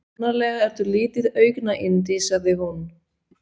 Sannarlega ertu lítið augnayndi sagði hún.